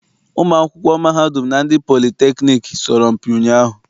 Ụmụ akwụkwọ mahadum na ndị politekniik sọrọmpi ụnyaahụ.